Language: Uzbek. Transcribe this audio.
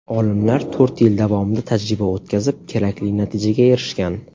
Olimlar to‘rt yil davomida tajriba o‘tkazib, kerakli natijaga erishgan.